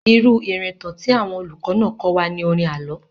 Irú ìrìntàn tí àwọn olùkọ́ náà kọ́ wa ni orin àlọ́.